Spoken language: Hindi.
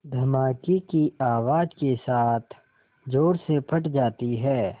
धमाके की आवाज़ के साथ ज़ोर से फट जाती है